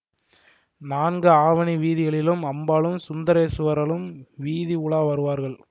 நான்கு ஆவணி வீதிகளிலும் அம்பாளும் சுந்தரேசுவரரும் வீதி உலா வருவார்கள்